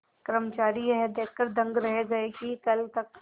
कर्मचारी यह देखकर दंग रह गए कि कल तक